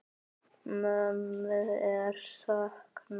Mömmu er saknað.